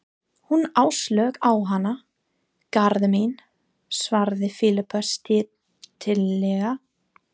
Hún Áslaug á hana, Garðar minn, svaraði Filippía stillilega.